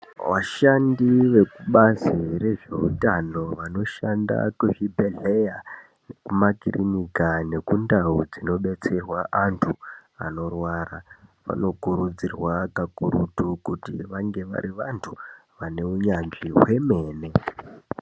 Vashandi vekubazi rezveutano vanoshanda kuzvibhedhleya kumakirinika nekundau dzinodetserwe anthu anorwara vanokurudzirwa kakurutu kuti vange vari vanthu vane unyanzvi hwemene.